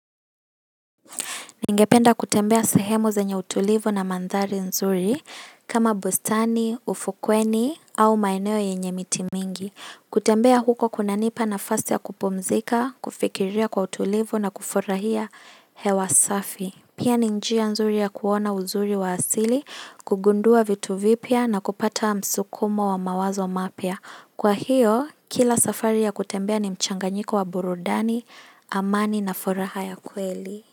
Ningependa kutembea sahemu zenye utulivu na mandhari nzuri kama bustani, ufukweni au maeneo yenye miti mingi. Kutembea huko kunanipa nafasi ya kupumzika, kufikiria kwa utulivu na kufurahia hewa safi. Pia ni njia nzuri ya kuona uzuri wa asili, kugundua vitu vipya na kupata msukumo wa mawazo mapya. Kwa hiyo, kila safari ya kutembea ni mchanganyiko wa burudani, amani na furaha ya kweli.